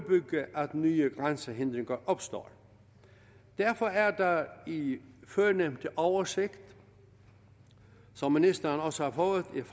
nye grænsehindringer opstår derfor er der i førnævnte oversigt som ministeren også har fået et